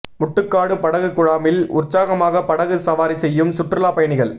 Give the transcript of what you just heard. முட்டுக்காடு படகு குழாமில் உற்சாகமாக படகு சவாரி செய்யும் சுற்றுலா பயணிகள்